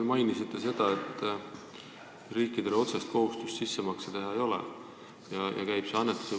Te mainisite, et riikidel otsest kohustust sissemakseid teha ei ole, aga tehakse annetusi.